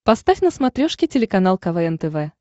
поставь на смотрешке телеканал квн тв